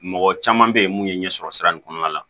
Mɔgɔ caman bɛ yen mun ye ɲɛsɔrɔ sira nin kɔnɔna la